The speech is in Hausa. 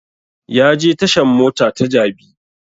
Ya je tashan mota ta jabi